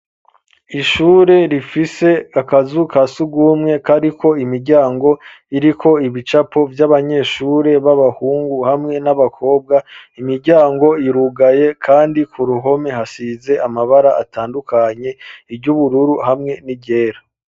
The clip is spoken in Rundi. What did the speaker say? Ishure rifise akazu kasugumwe kariko imiryango iriko ibicapo vy'abanyeshure b'abahungu hamwe n'abakobwa imiryango irugaye kandi ku ruhome hasize amabara atandukanye iry'ubururu hamwe n'iryera.